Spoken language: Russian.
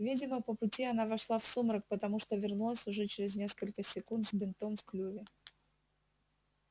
видимо по пути она вошла в сумрак потому что вернулась уже через несколько секунд с бинтом в клюве